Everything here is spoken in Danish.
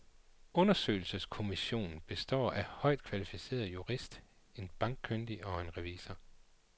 Undersøgelseskommissionen består af en højt kvalificeret jurist, en bankkyndig og en revisor.